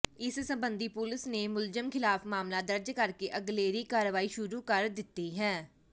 ਇਸ ਸਬੰਧੀ ਪੁਲਿਸ ਨੇ ਮੁਲਜ਼ਮ ਖ਼ਿਲਾਫ਼ ਮਾਮਲਾ ਦਰਜ ਕਰਕੇ ਅਗਲੇਰੀ ਕਾਰਵਾਈ ਸ਼ੁਰੂ ਕਰ ਦਿੱਤੀ ਹੈ